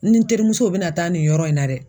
N ni n terimusow bɛ na taa nin yɔrɔ in na dɛ.